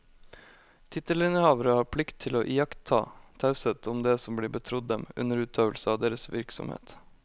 Tittelinnehavere har plikt til å iaktta taushet om det som blir betrodd dem under utøvelse av deres virksomhet.